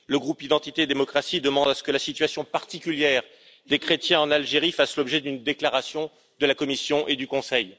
Le groupe Identité et démocratie demande à ce que la situation particulière des chrétiens en Algérie fasse l'objet d'une déclaration de la Commission et du Conseil.